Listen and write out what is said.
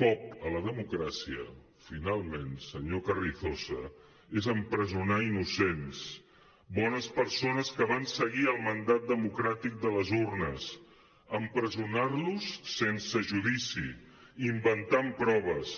cop a la democràcia finalment senyor carrizosa és empresonar innocents bones persones que van seguir el mandat democràtic de les urnes empresonar los sense judici inventant proves